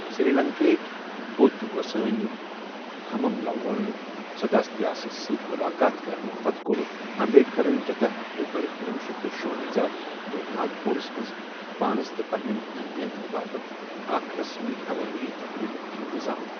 سری لنکا ہکۍ بُدھ گۄسٲنۍ ہممالوا سدھاتیساہَس سۭتۍ ملاقات کرنہٕ پتہٕ کوٚر امبیڈکرَن ژٔداہ اکتوبر کنۄہ شیتھ شُونزاہ دۄہ ناگپوٗرَس منٛز پانَس تہٕ پنٕنین حامیَن ہندِ باپت اکہ رَسمی عوٲمی تقریبک انتظام۔